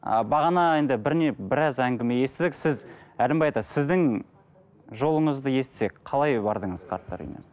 ы бағана енді бір не біраз әңгіме естідік сіз әлімбай ата сіздің жолыңызды естісек қалай бардыңыз қарттар үйіне